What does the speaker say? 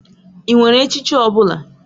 Ị nwere echichi ọ bụla?